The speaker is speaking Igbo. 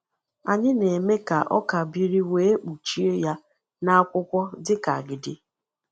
Anyị na-eme ka ọka biri wee kpuchie ya na akwụkwọ dịka agidi.